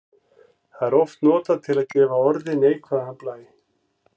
Það er oft notað til að gefa orði neikvæðan blæ.